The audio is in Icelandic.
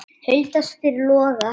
Hulda spyr Loga